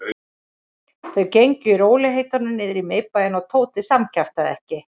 Þau gengu í rólegheitum niður í miðbæinn og Tóti samkjaftaði ekki.